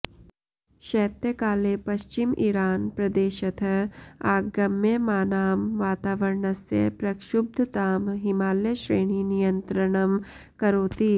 शैत्यकाले पश्चिम इरान् प्रदेशतः आगम्यमानां वातावरणस्य प्रक्षुब्धतां हिमालयश्रेणी नियन्त्रणं करोति